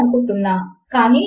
అవును అది ఒక్ అని చెపుతోంది